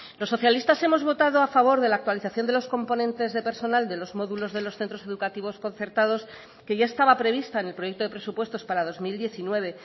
los socialistas hemos votado a favor de la actualización de los componentes de personal de los módulos de los centros educativos concertados que ya estaba prevista en el proyecto de presupuestos para dos mil diecinueve